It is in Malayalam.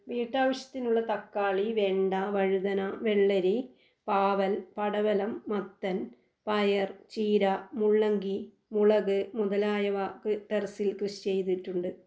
വീട്ടാവശ്യത്തിനുള്ള തക്കാളി, വെണ്ട, വഴുതന, വെള്ളരി, പാവൽ, പടവലം, മത്തൻ, പയർ, ചീര, മുള്ളങ്കി, മുളക് മുതലായവ ക് ടെറസിൽ കൃഷി ചെയ്തിട്ടുണ്ട്.